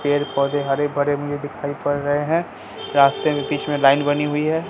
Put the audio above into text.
पेड़ पौधे हरे दिखाई पड़ रहे है रास्ते में बीच में लाइन बनी हुई है।